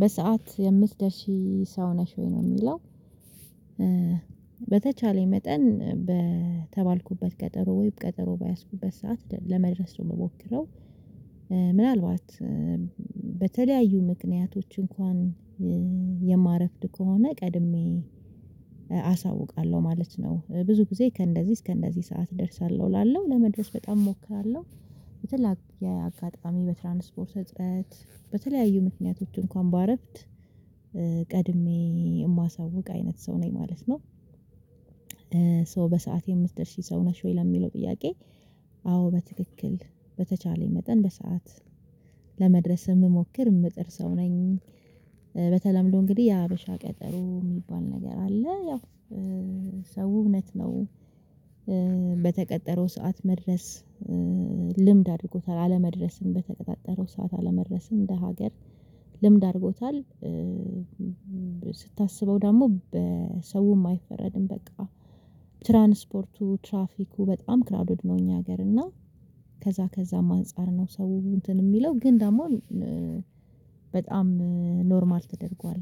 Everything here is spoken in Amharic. በሰአት የምትደርሺ ሰው ነሽ ወይ ነው የሚለው? በተቻለኝ መጠን በተባልኩበት ቀጠሮ ወይ ቀጠሮ ባያዝኩበት ሰዓት ለመድረሱ ነው የምሞክረው። ምናልባት በተለያዩ ምክንያቶች እንኳን የማረፍድ ከሆነ ቀድሜ አሳውቃለሁ ማለት ነው። ብዙ ጊዜ ከእንደዚህ እስከ እንደዚህ ሰዓት እደርሳለሁ እላለሁ ለመድረስ በጣም እሞክራለሁ። የተላኩ የአጋጣሚ በትራንስፖርት ስጥተት በተለያዩ ምክንያቶች እንኳን ባረፍድ ቀድሜ የማሳውቅ አይነት ሰው ነኝ ማለት ነው። ሶ በሰአት የምትደርስ ሰው ነሽ ወይ ለሚለው ጥያቄ? አዎ በትክክል በተቻለኝ መጠን በሰአት ለመድረስ የምሞክር የምጥር ሰው ነኝ። በተለምዶ እንግዲህ የሀበሻ ቀጠሮ የሚባል ነገር አለ። ያው ሰው እውነት ነው። በተቀጠረው ሰዓት መድረስ ልምድ አድርጎታል አለመድረስም በተቀጣጠረው ሰዓት አለመድረስም እንደ ሀገር ልምድ አድርጎታል። ስታስበው ደግሞ በሰውም አይፈረድም በቃ ትራንስፖርቱ ትራፊኩ በጣም ክራውድድ ነው። እኛ ሀገር እና ከዛ ከዛም አንፃር ነው። ሰው እንትን የሚለው ግን ደግሞ በጣም ኖርማል ተደርጓል።